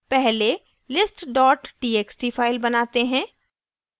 पहले list txt file बनाते हैं